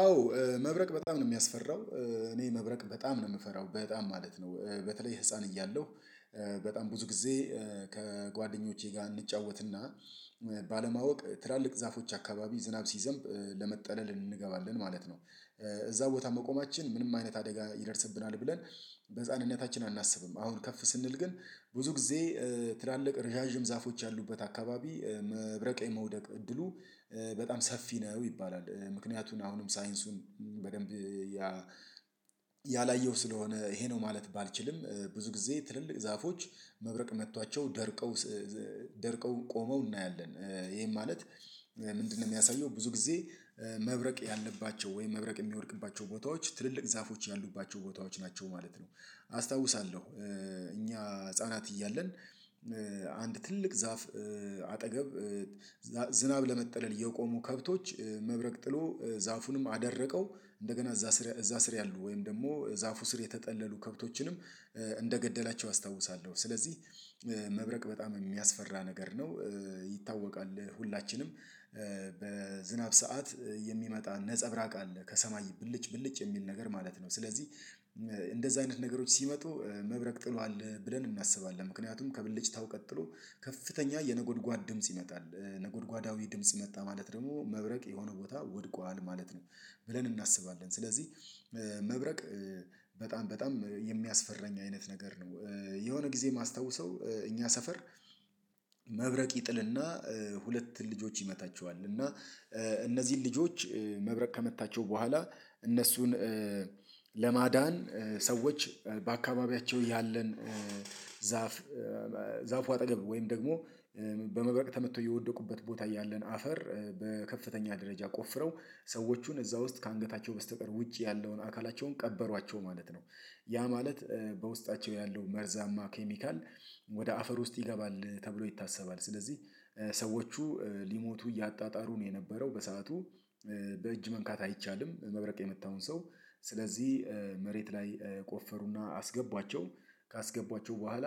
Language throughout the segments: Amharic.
አዎ መብረቅ በጣም ነው የሚያስፈራው። እኔ መብረቅ በጣም ነው የምፈራው በጣም ማለት ነው። በተለይ ህፃን እያለሁ በጣም ብዙ ጊዜ ከጓደኞቼ ጋር እንጫወትና ባለማወቅ ትላልቅ ዛፎች አካባቢ ዝናብ ሲዘንብ ለመጠለል እንገባለን ማለት ነው። እዛ ቦታ መቆማችን ምንም አይነት አደጋ ይደርስብናል ብለን በህፃንነታችን አናስብም። አሁን ከፍ ስንል ግን ብዙ ጊዜ ትላልቅ ረዣዥም ዛፎች ያሉበት አካባቢ መብረቀኝ መውደቅ እድሉ በጣም ሰፊ ነው ይባላል። ምክንያቱን አሁንም ሳይንሱን በደንብ ያ ያላየው ስለሆነ ይሄ ነው ማለት ባልችልም። ብዙ ጊዜ ትልልቅ ዛፎች መብረቅ መጥቷቸው ደርቀው ደርቀው ቆመው እናያለን ይሄም ማለት ምንድነው? የሚያሳየው ብዙ ጊዜ መብረቅ ያለባቸው ወይም መብረቅ የሚወድቅባቸው ቦታዎች ትልልቅ ዛፎች ያሉባቸው ቦታዎች ናቸው ማለት ነው። አስታውሳለሁ። እኛ ህፃናት እያለን አንድ ትልቅ ዛፍ አጠገብ ዝናብ ለመጠለል የቆሙ ከብቶች መብረቅ ጥሎ ዛፉንም አደረቀው እንደገና እዛ ስር እዛ ስር ያሉ ወይም ደግሞ ዛፉ ስር የተጠለሉ ከብቶችንም እንደገደላቸው አስታውሳለሁ። ስለዚህ መብረቅ በጣም የሚያስፈራ ነገር ነው። ይታወቃል ሁላችንም በዝናብ ሰዓት የሚመጣ ነፀብራቅ አለ ከሰማይ ብልጭ ብልጭ የሚል ነገር ማለት ነው። ስለዚህ እንደዛ አይነት ነገሮች ሲመጡ መብረቅ ጥሏል ብለን እናስባለን ምክንያቱም ከብልጭታው ቀጥሎ ከፍተኛ የነጎድጓድ ድምጽ ይመጣል ነጎድጓዳዊ ድምጽ መጣ ማለት ደግሞ መብረቅ የሆነ ቦታ ወድቋል ማለት ነው ብለን እናስባለን። ስለዚህ መብረቅ በጣም በጣም የሚያስፈራኝ አይነት ነገር ነው። የሆነ ጊዜ የማስታውሰው እኛ ሰፈር መብረቅ ይጥልና ሁለት ልጆች ይመታቸዋል እና እነዚህን ልጆች መብረቅ ከመታቸው በኋላ እነሱን ለማዳን ሰዎች በአካባቢያቸው ያለን ዛፍ ዛፉ አጠገብ ወይም ደግሞ በመብረቅ ተመቶ የወደቁበት ቦታ ያለን አፈር በከፍተኛ ደረጃ ቆፍረው ሰዎቹን እዛ ውስጥ ከአንገታቸው በስተቀር ውጭ ያለውን አካላቸውን ቀበሯቸው ማለት ነው። ያ ማለት በውስጣቸው ያለው መርዛማ ኬሚካል ወደ አፈር ውስጥ ይገባል ተብሎ ይታሰባል። ስለዚህ ሰዎቹ ሊሞቱ እያጣጣሩ ነው የነበረው በሰአቱ በእጅ መንካት አይቻልም። መብረቅ የመታውን ሰው ስለዚህ መሬት ላይ ቆፈሩና አስገቧቸው ካስገቧቸው በኋላ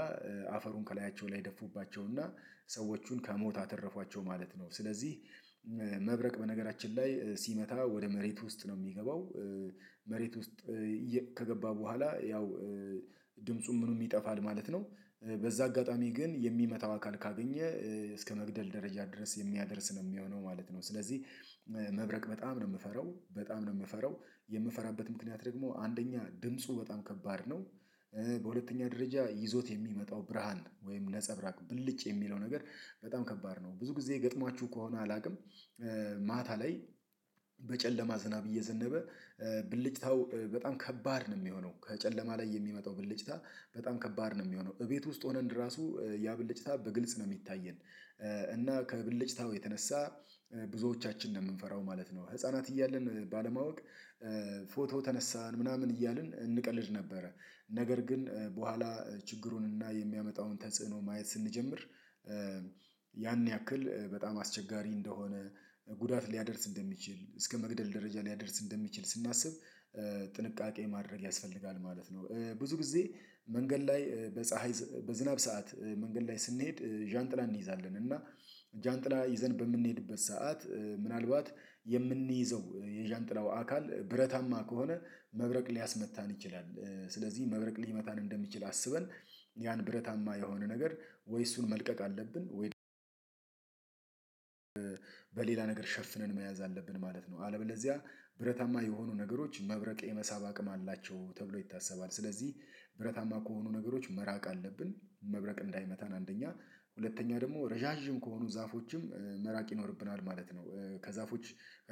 አፈሩን ከላያቸው ላይ ደፉባቸውና ሰዎቹን ከሞት አተረፏቸው ማለት ነው። ስለዚህ መብረቅ በነገራችን ላይ ሲመታ ወደ መሬት ውስጥ ነው የሚገባው መሬት ውስጥ ከገባ በኋላ ያው ድምፁም ምኑም ይጠፋል ማለት ነው። በዛ አጋጣሚ ግን የሚመታው አካል ካገኘ እስከመግደል ደረጃ ድረስ የሚያደርስ ነው የሚሆነው ማለት ነው። ስለዚህ መብረቅ በጣም ነው የምፈራው በጣም ነው የምፈራው የምፈራበት ምክንያት ደግሞ አንደኛ ድምፁ በጣም ከባድ ነው። በሁለተኛ ደረጃ ይዞት የሚመጣው ብርሃን ወይም ነፀብራቅ ብልጭ የሚለው ነገር በጣም ከባድ ነው ብዙ ጊዜ ገጥሟችሁ ከሆነ አላውቅም። ማታ ላይ በጨለማ ዝናብ እየዘነበ ብልጭታው በጣም ከባድ ነው የሚሆነው ከጨለማ ላይ የሚመጣው ብልጭታ በጣም ከባድ ነው የሚሆነው እቤት ውስጥ ሆነን ራሱ ያ ብልጭታ በግልጽ ነው የሚታየን እና ከብልጭታው የተነሳ ብዙዎቻችን ነው የምንፈራው ማለት ነው። ህፃናት እያልን ባለማወቅ ፎቶ ተነሳን ምናምን እያልን እንቀልድ ነበረ ነገር ግን በኋላ ችግሩንና የሚያመጣውን ተጽዕኖ ማየት ስንጀምር ያን ያክል በጣም አስቸጋሪ እንደሆነ ጉዳት ሊያደርስ እንደሚችል እስከመግደል ደረጃ ሊያደርስ እንደሚችል ስናስብ ጥንቃቄ ማድረግ ያስፈልጋል ማለት ነው። ብዙ ጊዜ መንገድ ላይ በፀሀይ በዝናብ ሰዓት መንገድ ላይ ስንሄድ ዣንጥላ እንይዛለን እና ዣንጥላ ይዘን በምንሄድበት ሰዓት ምናልባት የምንይዘው የዣንጥላው አካል ብረታማ ከሆነ መብረቅ ሊያስመታን ይችላል ስለዚህ መበረቅ ሊመታን እንደሚችል አስበን ያን ብረታማ የሆነ ነገር ወይ እሱን መልቀቅ አለብን ወይ በሌላ ነገር ሸፍነን መያዝ አለብን ማለት ነው። አለበለዚያ ብረታማ የሆኑ ነገሮች መብረቅ የመሳብ አቅም አላቸው ተብሎ ይታሰባል። ስለዚህ ብረታማ ከሆኑ ነገሮች መራቅ አለብን መብረቅ እንዳይመታን አንደኛ ሁለተኛ ደግሞ ረዣዥም ከሆኑ ዛፎችም መራቅ ይኖርብናል ማለት ነው። ከዛፎች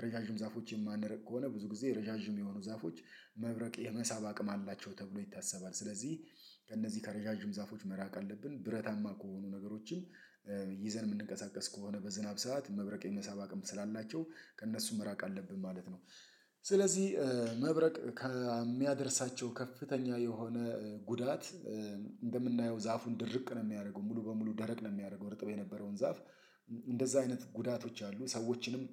ረዣዥም ዛፎች የማንረቅ ከሆነ ብዙ ጊዜ ረዣዥም የሆኑ ዛፎች መብረቅ የመሳብ አቅም አላቸው ተብሎ ይታሰባል። ስለዚህ ከእነዚህ ከረዣዥም ዛፎች መራቅ አለብን ብረታማ ከሆኑ ነገሮችም የምንቀሳቀስ ከሆነ በዝናብ ሰዓት መብረቅ የመሳብ አቅም ስላላቸው ከእነሱ መራቅ አለብን ማለት ነው። ስለዚህ መብረቅ ከሚያደርሳቸው ከፍተኛ የሆነ ጉዳት እንደምናየው ዛፉን ድርቅ ነው የሚያደርገው ሙሉ በሙሉ ደረቅ ነው የሚያደርገው ርጥብ የነበረውን ዛፍ እንደዛ አይነት ጉዳቶች አሉ ሰዎችንም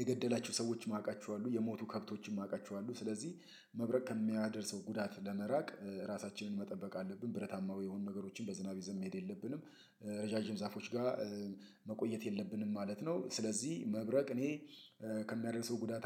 የገደላቸው ሰዎችም አውቃቸዋለሁ የሞቱ ከብቶችም አውቃቸዋለሁ ስለዚህ መብረቅ ከሚያደርሰው ጉዳት ለመራቅ ራሳችንን መጠበቅ አለብን። ብረታማዊ የሆኑ ነገሮችን በዝናብ ይዘን መሄድ የለብንም። ረዣዥም ዛፎች ጋር መቆየት የለብንም ማለት ነው። ስለዚህ መብረቅ እኔ ከሚያደርሰው ጉዳት